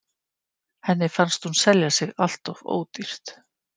Henni finnst hún selja sig alltof ódýrt.